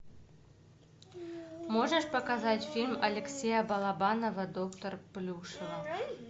можешь показать фильм алексея балабанова доктор плюшева